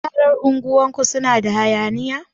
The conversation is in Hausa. Yaran unguwar ku suna da hayaniya?